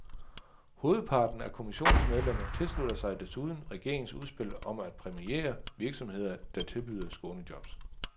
Hovedparten af kommissionens medlemmer tilslutter sig desuden regeringens udspil om at præmiere virksomheder, der tilbyder skånejobs.